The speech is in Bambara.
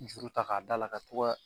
Juru ta k'a da la ka to ka